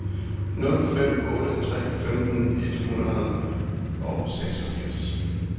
nul fem otte tre femten et hundrede og seksogfirs